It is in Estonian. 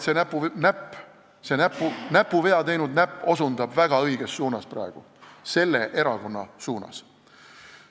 Ma arvan, et see näpuvea teinud näpp osutab praegu väga õiges suunas, selle erakonna suunas.